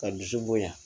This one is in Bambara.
Ka dusu bonya